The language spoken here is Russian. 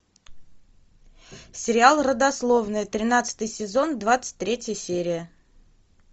сериал родословная тринадцатый сезон двадцать третья серия